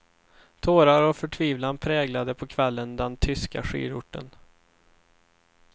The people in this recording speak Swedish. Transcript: Tårar och förtvivlan präglade på kvällen den tyska skidorten.